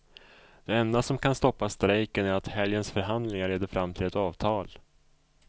Det enda som kan stoppa strejken är att helgens förhandlingar leder fram till ett avtal.